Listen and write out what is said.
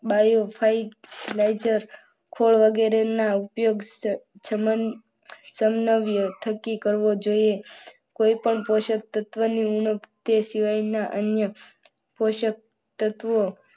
bio fertilizer વગેરેના ઉપયોગ સમનવ્ય થકી કરવો જોઈએ કોઈ પણ પોષક તત્વોની ઉણપ કે તે સિવાયના અન્ય પોષક તત્વો